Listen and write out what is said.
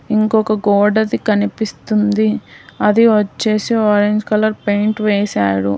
ఇంకొక గోడ ది కనిపిస్తుంది అది వచ్చేసి ఆరెంజ్ కలర్ పెయింట్ వేశారు.